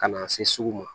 Ka na se sugu ma